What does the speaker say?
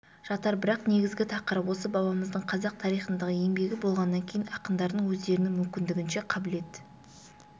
жатар бірақ негізгі тақырып осы бабамыздың қазақ тарихындағы еңбегі болғаннан кейін ақындардың өздерінің мүмкіндігінше қабілет